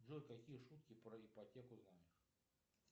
джой какие шутки про ипотеку знаешь